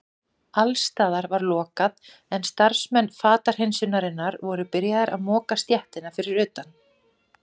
Alls staðar var lokað en starfsmenn fatahreinsunarinnar voru byrjaðir að moka stéttina fyrir utan.